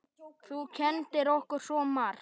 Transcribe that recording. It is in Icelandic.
Þú kenndir okkur svo margt.